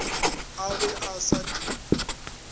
a be a sa di